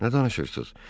Nə danışırsınız?